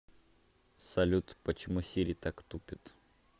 салют почему сири так тупит